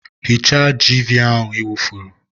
Hichaa jiiviia i wufuru!